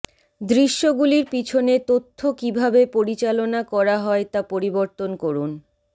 দৃশ্যগুলির পিছনে তথ্য কিভাবে পরিচালনা করা হয় তা পরিবর্তন করুন